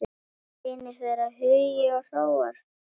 Synir þeirra Hugi og Hróar.